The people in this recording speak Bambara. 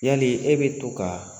Yali e bɛ to ka